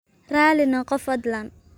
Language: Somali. Raali noqo fadlan.